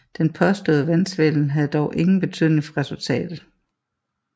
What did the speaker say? Den påståede valgsvindel havde dog ingen betydning for resultatet